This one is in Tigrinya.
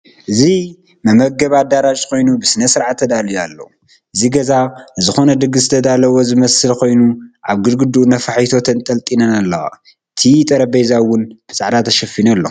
እዚ መመገቢ አዳራሽ ኮይኑ ብስነስርዓት ተዳልዩ አሎ፡፡ እዚ ገዛ ንዝኮነ ድግስ ዝተዳለወ ዝመስል ኮይኑ አብ ግድግድኡ ነፋሒቶ ተንጠልጢለን አለዋ፣ እቲ ጠረጴዛ ውን ብፃዕዳ ተሸፊኑ አሎ፡፡